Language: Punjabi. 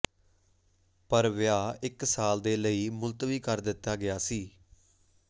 ਪਰ ਵਿਆਹ ਇੱਕ ਸਾਲ ਦੇ ਲਈ ਮੁਲਤਵੀ ਕਰ ਦਿੱਤਾ ਗਿਆ ਸੀ